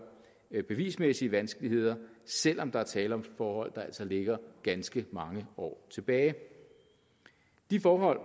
bevismæssige vanskeligheder selv om der er tale om forhold der altså ligger ganske mange år tilbage de forhold